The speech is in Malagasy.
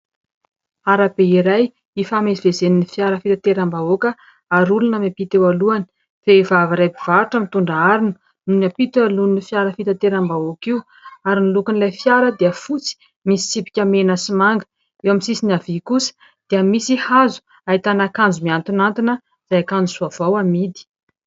arabe iray ifamezivezen'ny fiara fitateram-bahoaka ary olona miampita eo alohany. Vehivavy iray mpivarotra mitondra harona no miampita eo alohan'io fiara fitateram-bahoaka io, ary ny lokon'ilay fiara dia fotsy misy tsipika mena sy manga, eo amin'ny sisiny havia kosa dia misy hazo ahitana akanjo mihantonkantona, izay akanjo vaovao amidy.